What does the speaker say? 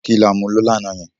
kí là mú yo lànà yen?